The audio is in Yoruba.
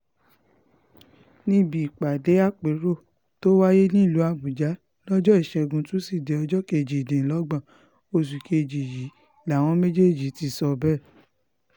níbi ìpàdé àpérò tó wáyé nílùú àbújá lọ́jọ́ ìṣẹ́gun tusidee ọjọ́ kejìdínlọ́gbọ̀n oṣù kejì yìí làwọn méjèèjì ti sọ bẹ́ẹ̀